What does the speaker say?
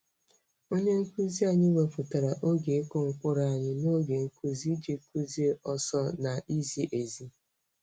Onye nkuzi anyị wepụtara oge ịkụ mkpụrụ anyị n'oge nkuzi iji kuzie ọsọ na izi ezi.